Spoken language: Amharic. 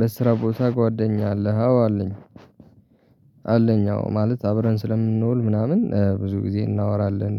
በስራ ቦታ ጓደኛ አለህ አዎ አለኝ አለኝ አዎ ማለት አብረን ስለምንውል ምናምን ብዙ ጊዜ እናወራለን።